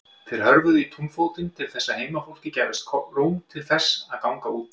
Þeir hörfuðu í túnfótinn til þess að heimafólki gæfist tóm til þess að ganga út.